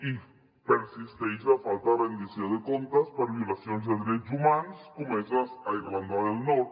i persisteix la falta de rendició de comptes per violacions de drets humans comeses a irlanda del nord